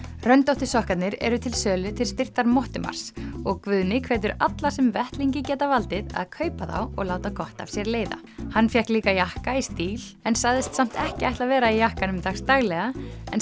röndóttu sokkarnir eru til sölu til styrktar Mottumars og Guðni hvetur alla sem vettlingi geta valdið að kaupa þá og láta gott af sér leiða hann fékk líka jakka í stíl en sagðist samt ekki ætla að vera í jakkanum dagsdaglega en